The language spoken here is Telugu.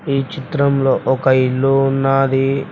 ఈ చిత్రంలో ఒక ఇల్లు ఉన్నాది.